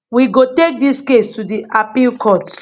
we go take dis case to di appeal court